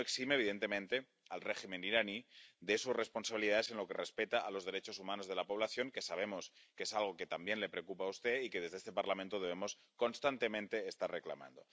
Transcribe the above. Ello no exime, evidentemente, al régimen iraní de sus responsabilidades en lo que respecta a los derechos humanos de la población, que sabemos que es algo que también le preocupa a usted y que desde este Parlamento debemos constantemente reclamar.